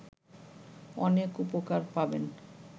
অনেক উপকার পাবেন